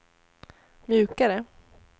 mjukare